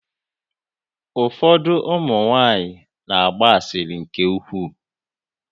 Ụfọdụ ụmụ nwaanyị na-agba asịrị nke ukwuu.